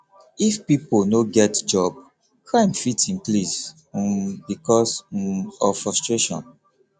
if pipo no get job crime fit increase um because um of frustration